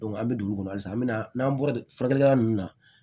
an bɛ dugu kɔnɔ halisa an mi na n'an bɔra furakɛlikɛla nunnu na